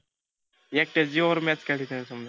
एकट्याच्या जिवावर match काढली त्यानं समजा.